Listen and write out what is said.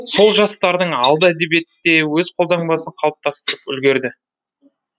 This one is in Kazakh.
сол жастардың алды әдебиетте өз қолтаңбасын қалыптастырып үлгерді